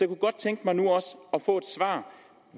kunne godt tænke mig nu